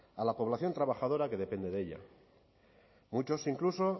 a la población trabajadora que depende de ella muchos incluso